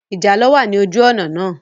Ìjàlọ̀ wà ní ojú òná náà